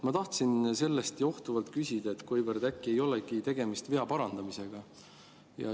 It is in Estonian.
Ma tahtsin sellest johtuvalt küsida, kas äkki ei olegi tegemist vea parandamisega.